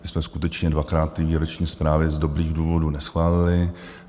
My jsme skutečně dvakrát ty výroční zprávy z dobrých důvodů neschválili.